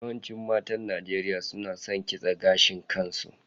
Yawancin matan Najeriya suna kitse gashin kansu.